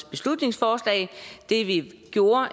beslutningsforslaget det vi gjorde